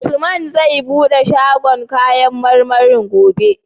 Usman zai buɗe shagon kayan marmarin gobe?